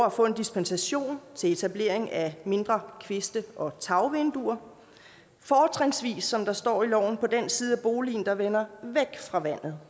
at få en dispensation til etablering af mindre kviste og tagvinduer fortrinsvis som der står i loven på den side af boligen der vender væk fra vandet